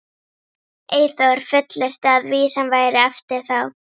Eyþór fullyrti að vísan væri eftir þá